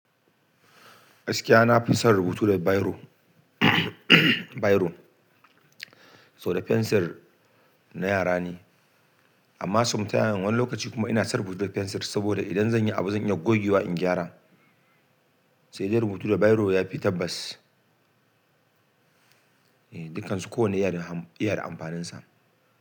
gAiskia nafi son rubutu da biro, biro, saboda fensir na yara ne. Amma sometimes, wani lokaci kuma ina son rubutu da fensir saboda idan zan yi abu zan iya gogewa in gyara. Sai dai rubutu da biro yafi tabbas. Dukkansu kowanne yana da, iya da amfaninsa.